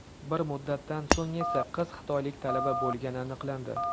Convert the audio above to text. Bir muddatdan so‘ng esa qiz xitoylik talaba bo‘lgani aniqlandi.